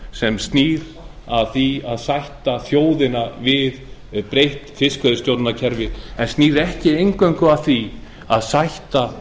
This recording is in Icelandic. sem snýr að því að sætta þjóðina við breytt fiskveiðistjórnarkerfi en snýr ekki eingöngu að því að sætta